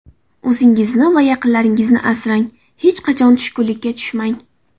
O‘zingizni va yaqinlaringizni asrang, hech qachon tushkunlikka tushmang.